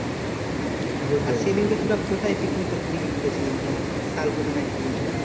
আর সেদিনকে তোরা কোথায় পিকনিক করতে গেছিলি যেন শালবনী নাকি কি বলছিল?